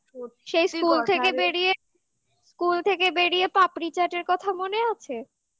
সেই school থেকে বেরিয়ে সেই school থেকে বেরিয়ে পাপড়ি চাটের কথা মনে আছে